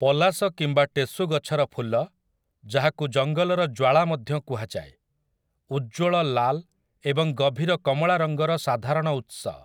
ପଲାଶ କିମ୍ବା ଟେସୁ ଗଛର ଫୁଲ, ଯାହାକୁ ଜଙ୍ଗଲର ଜ୍ୱାଳା ମଧ୍ୟ କୁହାଯାଏ, ଉଜ୍ଜ୍ୱଳ ଲାଲ୍ ଏବଂ ଗଭୀର କମଳା ରଙ୍ଗର ସାଧାରଣ ଉତ୍ସ ।